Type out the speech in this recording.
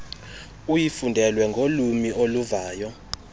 uyifundelwe ngolwiimi oluvayo